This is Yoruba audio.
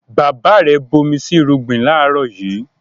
Bàbá rẹ̀ bomi sí irúgbìn láàrọ̀ yìí